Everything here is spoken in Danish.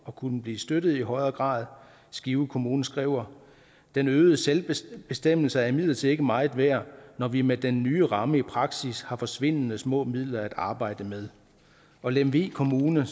at kunne blive støttet i højere grad skive kommune skriver den øgede selvbestemmelse er imidlertid ikke meget værd når vi med den nye ramme i praksis har forsvindende små midler at arbejde med og lemvig kommune